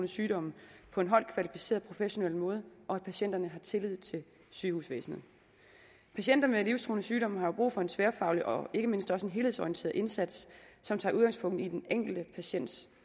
sygdomme på en højt kvalificeret professionel måde og at patienterne har tillid til sygehusvæsenet patienter med livstruende sygdomme har brug for en tværfaglig og ikke mindst også en helhedsorienteret indsats som tager udgangspunkt i den enkelte patients